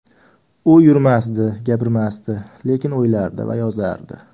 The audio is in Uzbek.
U yurmasdi, gapirmasdi, lekin o‘ylardi va yozardi.